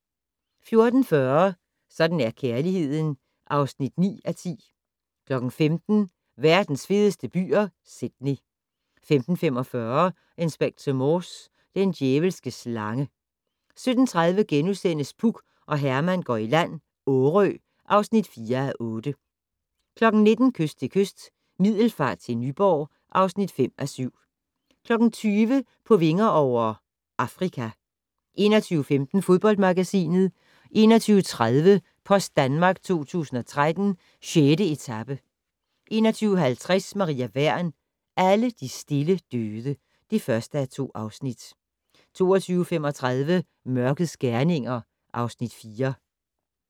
14:40: Sådan er kærligheden (9:10) 15:00: Verdens fedeste byer - Sydney 15:45: Inspector Morse: Den djævelske slange 17:30: Puk og Herman går i land - Årø (4:8)* 19:00: Kyst til kyst - Middelfart til Nyborg (5:7) 20:00: På vinger over - Afrika 21:15: Fodboldmagasinet 21:30: Post Danmark 2013: 6. etape 21:50: Maria Wern: Alle de stille døde (1:2) 22:35: Mørkets gerninger (Afs. 4)